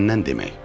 Məndən demək.